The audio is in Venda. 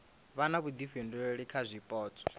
vha na vhuifhinduleli kha zwipotso